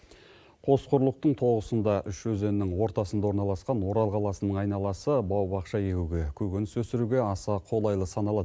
қос құрлықтың тоғысында үш өзеннің ортасында орналасқан орал қаласының айналасы бау бақша егуге көкөніс өсіруге аса қолайлы саналады